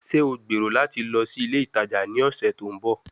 Ṣe o gbero lati lọ si ile itaja ni ọsẹ to nbọ?